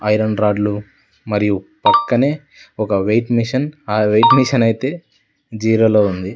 Iron రాడ్లు మరియు పక్కనే ఒక వెయిట్ మిషన్ ఆ వెయిట్ మిషన్ అయితే జీరో లో ఉంది.